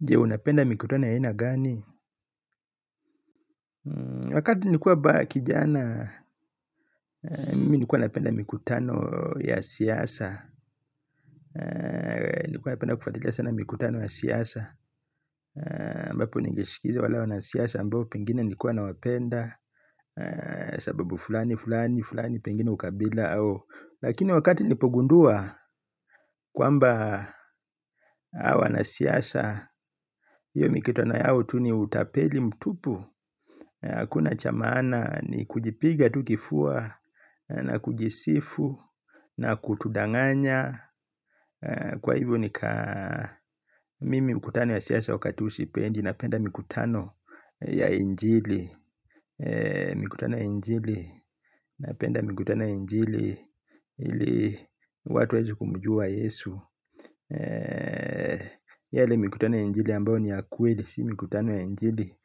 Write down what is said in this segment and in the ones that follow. Je unapenda mikutano ya aina gani? Wakati nilikuwa bado kijana, mimi nilikuwa napenda mikutano ya siasa. Nilikuwa napenda kufuatilia sana mikutano ya siasa ambapo ningesikiliza wale wanasiasa ambao pengine nilikuwa nawapenda. Sababu fulani, fulani, fulani, pengine ukabila au lakini wakati nilipogundua kwamba hawa wanasiasa iyo mikutano yao tu ni utapeli mtupu. Hakuna cha maana ni kujipiga tu kifua. Na kujisifu na kutudanganya kwa hivyo nika Mimi mkutano ya siasa wakati huu sipendi. Napenda mikutano ya injili. Mikutano ya injili napenda mkutano ya injili ili watu waeze kumjua yesu yale mikutano ya injili ambayo ni ya kweli si mkutano ya injili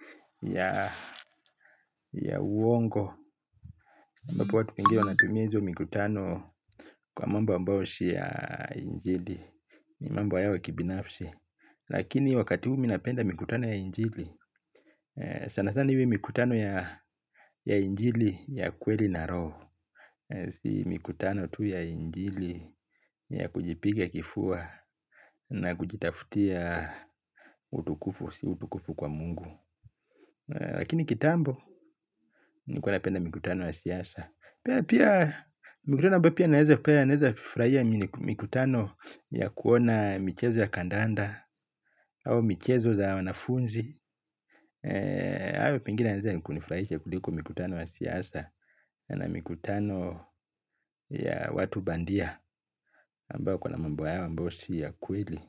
ya uongo ambapo watu wengi wanatumia hizo mikutano kwa mambo ambao si ya injili. Mambo yao kibinafsi. Lakini wakati huu mi napenda mikutano ya injili. Sana sana iwe mikutano ya injili ya kweli na roho. Si mikutano tu ya injili ya kujipiga kifua na kujitafutia utukufu si utukufu kwa mungu. Lakini kitambo nilikuwa napenda mkutano wa siasa. Pia mkutano ambayo pia naeza kufurahia mikutano ya kuona michezo ya kandanda au michezo za wanafunzi au pengine yanaeza ni kunifurahisha kuliko mikutano ya siasa. Na mikutano ya watu bandia ambao kuna mambo yao ambayo si ya kweli.